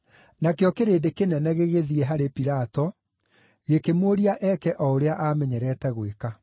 Nakĩo kĩrĩndĩ kĩnene gĩgĩthiĩ harĩ Pilato, gĩkĩmũũria eeke o ũrĩa aamenyerete gwĩka.